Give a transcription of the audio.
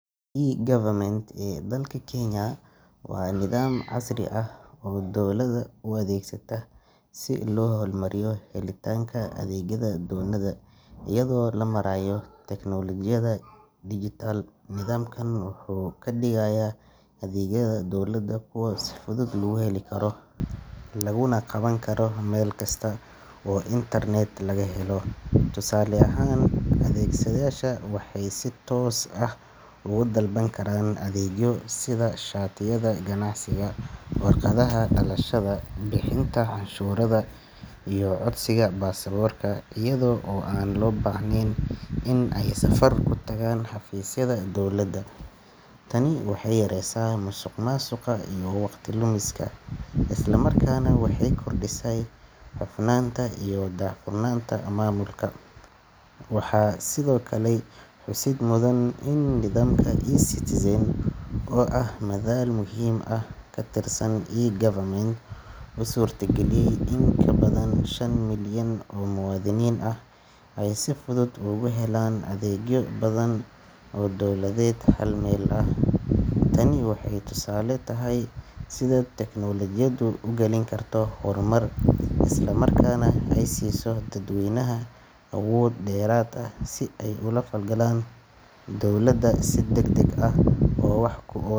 E-Government ee dalka Kenya waa nidaam casri ah oo dowladda u adeegsatay si loo hormariyo helitaanka adeegyada dadweynaha iyada oo loo marayo teknolojiyadda digital. Nidaamkan wuxuu ka dhigaya adeegyada dowladda kuwo si fudud loo heli karo, laguna qaban karo meel kasta oo internet laga helo. Tusaale ahaan, adeegsadayaasha waxay si toos ah uga dalban karaan adeegyo sida shatiyada ganacsiga, warqadaha dhalashada, bixinta canshuuraha, iyo codsiga baasaboorka iyada oo aan loo baahnayn in ay safar ku tagaan xafiisyada dowladda. Tani waxay yareysay musuqmaasuqa iyo waqti lumiska, isla markaana waxay kordhisay hufnaanta iyo daahfurnaanta maamulka. Waxaa sidoo kale xusid mudan in nidaamka eCitizen, oo ah madal muhiim ah oo ka tirsan E-Government, uu suurtageliyay in in ka badan shan milyan oo muwaadiniin ah ay si fudud ugu helaan adeegyo badan oo dowladeed hal meel ah. Tani waxay tusaale u tahay sida tiknoolajiyaddu ugaalin karto horumar, isla markaana ay u siiso dadweynaha awood dheeraad ah si ay ula falgalaan dowladda si degdeg ah oo wax ku ool.